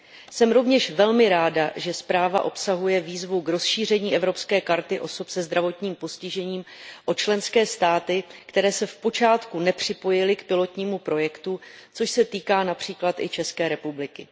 Jsem rovněž velmi ráda, že zpráva obsahuje výzvu k rozšíření evropské karty osob se zdravotním postižením o členské státy, které se v počátku nepřipojily k pilotnímu projektu, což se týká například i České republiky.